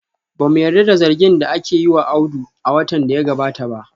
Ba mu yarda da zargin da aka yi wa Audu a watan da ya gabata ba